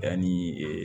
Yanni ee